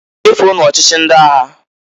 Chefuonu ọchịchị ndị agha!